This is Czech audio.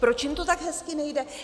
Proč jim to tak hezky nejde?